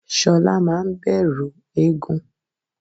shola maa n bẹrú égún